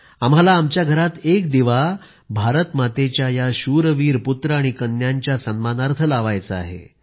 आम्हाला आमच्या घरात एक दिवा भारतमातेच्या या शूरवीर पुत्र आणि कन्यांच्या सन्मानार्थ लावायचा आहे